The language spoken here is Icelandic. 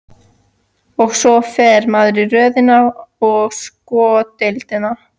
Og svo fer maður í röð inn á sko deildina.